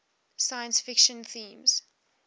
science fiction themes